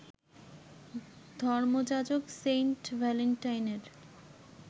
ধর্মযাজক saint ভ্যালেন্টাইনের